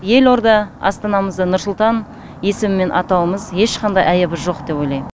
елорда астанамызды нұр сұлтан есімімен атауымыз ешқандай айыбы жоқ деп ойлаймын